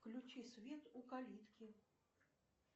включи свет у калитки